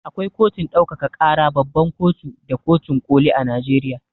Akwai kotun ɗaukaka ƙara, babban kotu da kotun ƙoli a Najeriya.